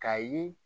K'a ye